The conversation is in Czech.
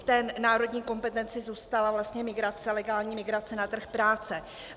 V té národní kompetenci zůstala vlastně migrace, legální migrace na trh práce.